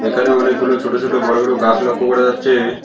এখানে অনেকগুলো ছোট ছোট বড় বড় গাছ লক্ষ্য করা যাচ্ছে।